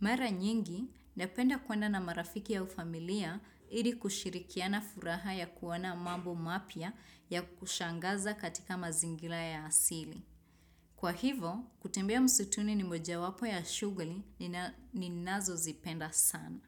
Mara nyingi, napenda kwenda na marafiki ya ufamilia ili kushirikiana furaha ya kuwana mambo mapya ya kushangaza katika mazingila ya asili. Kwa hivo, kutembea msutuni ni moja wapo ya shughuli nina ninazo zipenda sana.